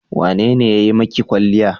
Wane ne ya yi maki kwalliya?